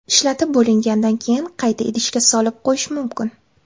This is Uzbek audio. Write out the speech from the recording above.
Ishlatib bo‘lingandan keyin qayta idishga solib qo‘yish mumkin.